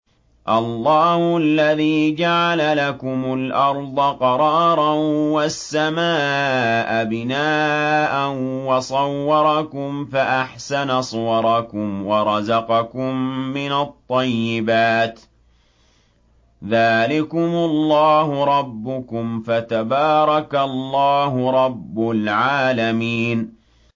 اللَّهُ الَّذِي جَعَلَ لَكُمُ الْأَرْضَ قَرَارًا وَالسَّمَاءَ بِنَاءً وَصَوَّرَكُمْ فَأَحْسَنَ صُوَرَكُمْ وَرَزَقَكُم مِّنَ الطَّيِّبَاتِ ۚ ذَٰلِكُمُ اللَّهُ رَبُّكُمْ ۖ فَتَبَارَكَ اللَّهُ رَبُّ الْعَالَمِينَ